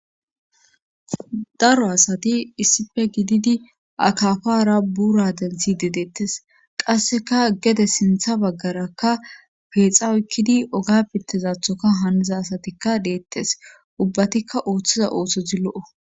Daro asati issife gididi akafara buura denthi dedeettes qasseka gede sintha baggarakka peexa uykkidi oga bintezathoka haaniza asatikka deettes ubbatikka ooththiza oothto zi lo7o